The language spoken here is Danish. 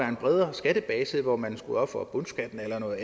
en bredere skattebase hvor man skulle ofre bundskatten eller noget